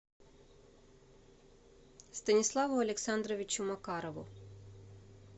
станиславу александровичу макарову